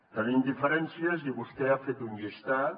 tenim diferències i vostè n’ha fet un llistat